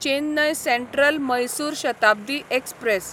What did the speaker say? Chennai central Mysore Shatabdi express